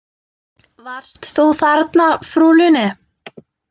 Varst þú þarna, frú Lune?